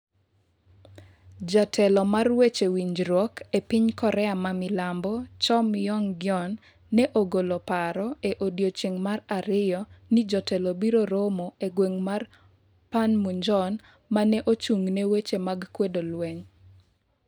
Jatelo mar weche winjruok e piny Korea ma milambo, Cho Myoung-gyon, ne ogolo paro e odiechieng' mar ariyo ni jotelo biro romo e gweng' mar Panmunjon ma ne ochung'ne weche mag kwedo lweny.